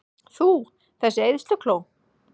Þú, þessi eyðslukló!